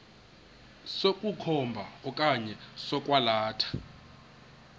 sokukhomba okanye sokwalatha